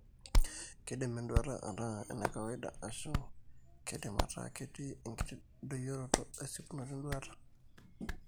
Keidim enduata ataa enakawaida, ashu keidim ataa ketii enkiti doyioroto esipunoto enduata.